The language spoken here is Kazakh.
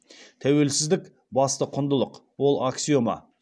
тәуелсіздік басты құндылық ол аксиома